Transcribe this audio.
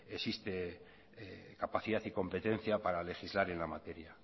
existe capacidad y competencia para legislar en la materia